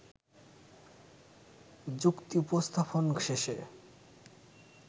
যুক্তি উপস্থাপন শেষে